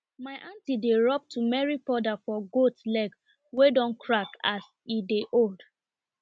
my aunty dey rub turmeric powder for goat leg wey don crack as e dey old